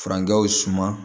Furancɛw suma